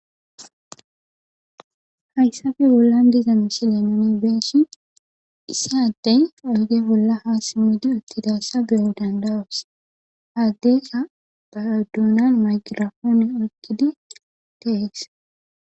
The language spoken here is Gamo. Hayssabe bollan diza mishile nooni beeshi issaddey oyge bolla haasimudi uttidassa beyo dandawas haaddeka baduunan magirafoon oygidi tehees.